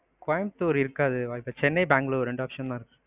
கோயம்பத்தூர் இருக்காது. சென்னை, பெங்களூரு ரெண்டு option தான்.